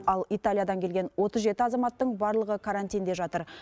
ал италиядан келген отыз жеті азаматтың барлығы карантинде жатыр